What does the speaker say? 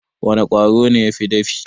Wana Ƙwaro ne yafi dafi?